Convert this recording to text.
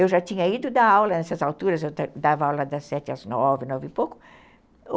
Eu já tinha ido dar aula nessas alturas, eu dava aula das sete às nove, nove e pouco.